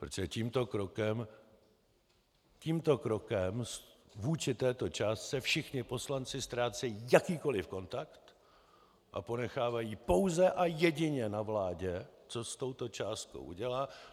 Protože tímto krokem vůči této částce všichni poslanci ztrácejí jakýkoliv kontakt a ponechávají pouze a jedině na vládě, co s touto částkou udělá.